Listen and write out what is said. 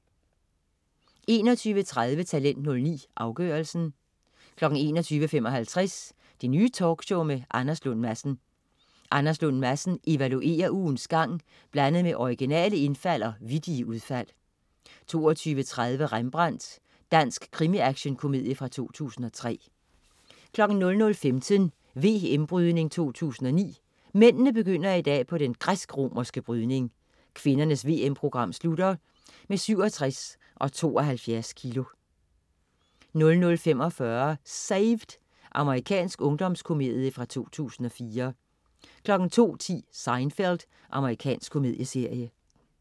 21.30 Talent 09, afgørelsen 21.55 Det Nye Talkshow med Anders Lund Madsen. Anders Lund Madsen evaluerer ugens gang blandet med originale indfald og vittige udfald 22.30 Rembrandt. Dansk krimi-actionkomedie fra 2003 00.15 VM Brydning 2009. Mændene begynder i dag på den græsk-romerske brydning. Kvindernes VM-program slutter med 67 og 72 kg 00.45 Saved! Amerikansk ungdomskomedie fra 2004 02.10 Seinfeld. Amerikansk komedieserie